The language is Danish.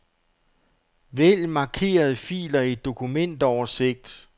Vælg markerede filer i dokumentoversigt.